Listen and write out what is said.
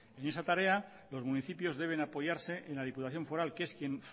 y esa tarea los municipios deben apoyarse en la diputación foral que es quien